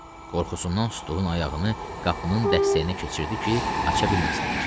Qorxusundan tutduğunun ayağını qapının dəstəyinə keçirdi ki, aça bilməsinlər.